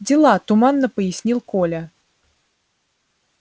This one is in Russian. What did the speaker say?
дела туманно пояснил коля